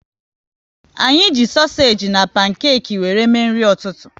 Anyị ji sosage na pankeki wéré mee nri ụtụtụ